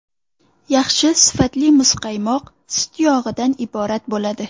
Yaxshi sifatli muzqaymoq sut yog‘idan iborat bo‘ladi.